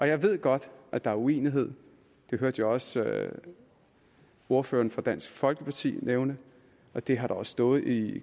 jeg ved godt at der er uenighed det hørte jeg også ordføreren for dansk folkeparti nævne og det har der også stået i